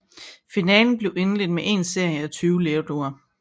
Finalen bliver indledt med én serie af 20 lerduer